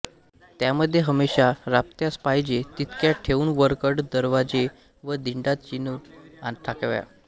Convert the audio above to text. त्यामध्ये हमेशा राबत्यास पाहिजे तितक्या ठेवून वरकड दरवाजे व दिंडा चिणून टाकाव्या